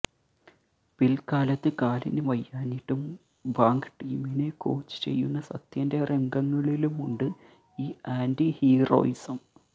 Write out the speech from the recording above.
പിൽക്കാലത്ത് കാലിന് വയ്യാഞ്ഞിട്ടും ബാങ്ക് ടീമിനെ കോച്ച് ചെയ്യുന്ന സത്യന്റെ രംഗങ്ങളിലുമുണ്ട് ഈ ആന്റി ഹീറോയിസം